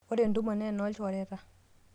ore entumo na enoo ilchoreta